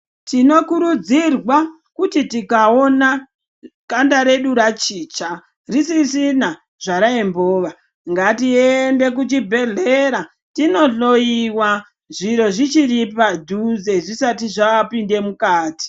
Tinokurudzirwa kuti tikawona kanda redu rachicha, risisina zvarayimbova, ngatiende kuchibhedhlera tindohloyiwa zviro zvichiri padhuze ,zvisati zvapinde mukati.